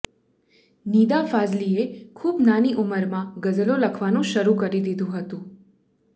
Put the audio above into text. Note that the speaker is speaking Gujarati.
નિદા ફાઝલીએ ખુબ નાની ઉંમરમાં ગઝલો લખવાનું શરૂ કરી દિધું હતું